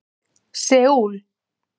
Seúl